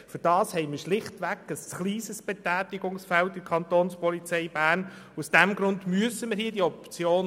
Dafür ist das Betätigungsfeld der Kapo Bern schlichtweg zu klein.